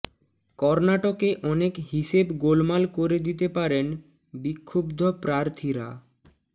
কর্ণাটকে অনেক হিসেব গোলমাল করে দিতে পারেন বিক্ষুব্ধ প্রার্থীরা